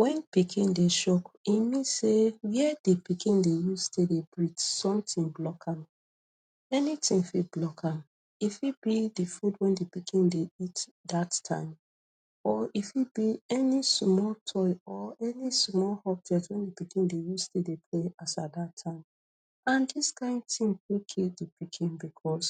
Wen pikin dey choke, e mean sey where di pikin dey use take dey breathe, something block am. Many tin fit block am. E fit be di food wey di pikin dey eat dat time, or e fit be any small toy or any small object wey di pikin dey use take dey play as at dat time. And dis kind tin fit kill di pikin becos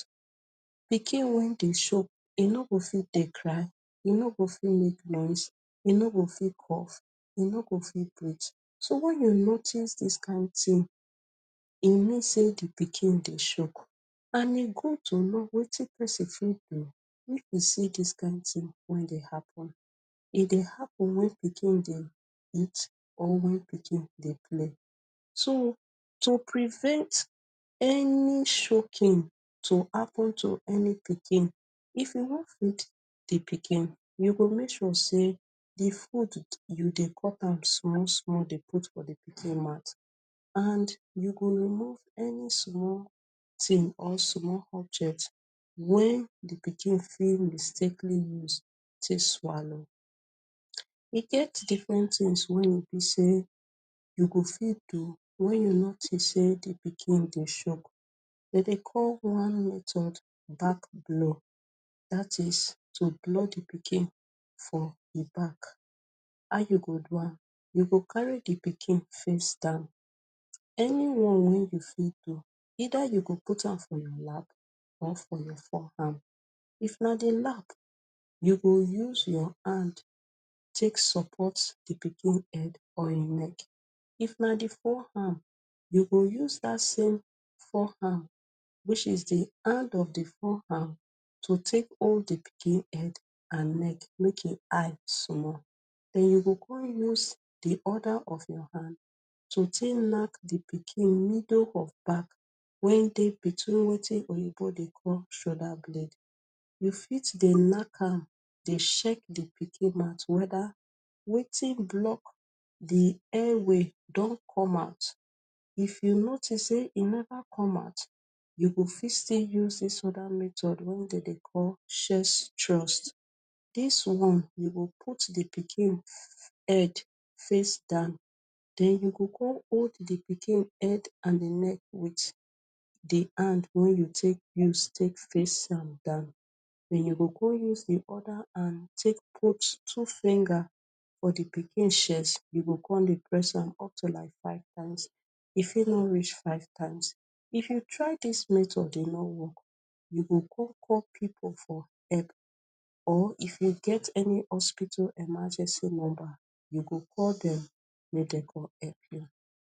pikin wey dey choke, e no go fit dey cry, e no go fit make noise, e no go fit cough, e no go fit breathe. So wen you notice dis kind tin, e mean sey di pikin dey choke. And e good to know wetin pesin fit do if e see dis kind tin wey dey happen. E dey happen wen pikin dey eat or wen pikin dey play. So, to prevent any choking to happen to any pikin, if you wan feed di pikin, you go make sure sey di food, you dey cut am small small dey put for di pikin mouth, and you go remove any small tin or small object wen di pikin fit mistakenly use take swallow. E get different tins wey be sey you go fit do wen you notice sey di pikin e dey choke. Dem sey call one method ‘’back blow’’, dat is to blow di pikin for di back. How you go do am? You go carry di pikin fit stand; anyone wey you fit do. Either you go put am for your lap or for your forearm. If na di lap, you go use your hand take support di pikin head or im leg. If na di forearm, you go use dat same forearm, which is di hand of di forearm, to take hold di pikin head and neck make e high small, then you go come use di other of your hand to take knack di pikin middle of back, wen dey between wetin Oyinbo dey call ‘shoulder blade’. You fit dey knack am, dey check di pikin mouth whether wetin block di airway don come out. If you notice sey e never come out, you go fit still use dis other method wey dem dey call ‘’chest thrust’’. Dis one, you go put di pikin head face down, then you go con hold di pikin head and di neck wit di hand wey you take use take face am down. Then you go con use di other hand take put two finger for di pikin chest. You go come dey press am up to like five times. E fit no reach five times. If you try dis method e no work, you go con call pipu for help, or if you get any hospital emergency number, you go call dem make dem come help you.